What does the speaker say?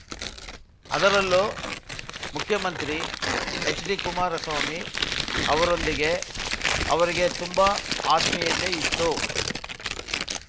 ಅದರಲ್ಲೂ ಮುಖ್ಯಮಂತ್ರಿ ಎಚ್‌ಡಿಕುಮಾರಸ್ವಾಮಿ ಅವರೊಂದಿಗೆ ಅವರಿಗೆ ತುಂಬಾ ಆತ್ಮೀಯತೆ ಇತ್ತು